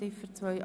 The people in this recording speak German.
Ziffer 1